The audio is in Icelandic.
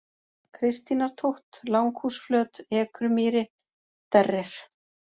Kristínartótt, Langhúsflöt, Ekrumýri, Derrir